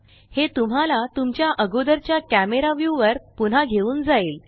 हे तुम्हाला तुमच्या आगोदरच्या कॅमरा व्यू वर पुन्हा घेऊन जाईल